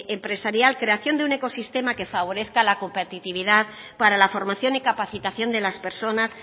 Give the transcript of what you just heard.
empresarial creación de un ecosistema que favorezca la competitividad para la formación y capacitación de las personas